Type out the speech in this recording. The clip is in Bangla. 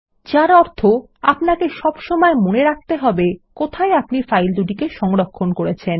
যার অর্থ আপনাকে সবসময় মনে রাখতে হবে কোথায় আপনি ফাইল দুটিকে করেছেন